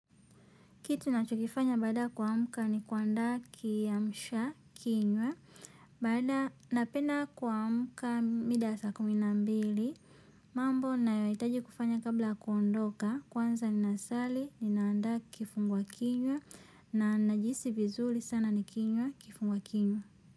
Kitu ninachokifanya baada ya kuamka ni kuandaa kiamsha kinywa. Baada napenda kuamka mida ya saa kumi na mbili. Mambo ninayohitaji kufanya kabla ya kuondoka. Kwanza ninasali, ninaandaa kifungua kinywa. Na ninajihisi vizuri sana nikinywa kifungua kinywa.